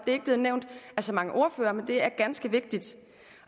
er ikke blevet nævnt af så mange ordførere men det er ganske vigtigt